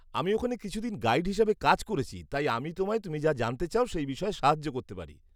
আমি ওখানে কিছুদিন গাইড হিসেবে কাজ করেছি, তাই আমি তোমায় তুমি যা জানতে চাও সেই বিষয়ে সাহায্য করতে পারি।